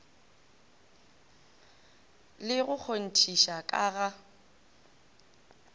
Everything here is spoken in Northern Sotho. le go kgonthiša ka ga